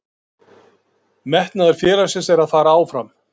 Metnaður félagsins er að fara áfram.